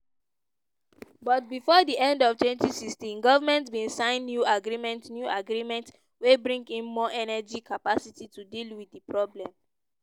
but bifor di end of 2016 goment bin sign new agreements new agreements wey bring in more energy capacity to deal wit di problem.